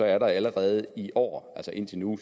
er der allerede i år altså indtil nu